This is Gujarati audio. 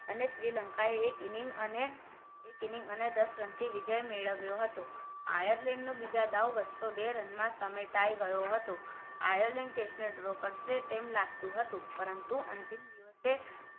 અને શ્રીલંકાએ એક inning અને દસ રનથી વિજય મેળવ્યો હતો આયર્લેન્ડ ના બીજા દાવ બસો બે run માં સમિટાઈ ગયો હતો આયર્લેન્ડ test draw કરે તેમ લાગતું હતું પરંતુ અંતિમ દિવસે